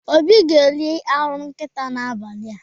Obi ga-eri anụ nkịta n'abalị a.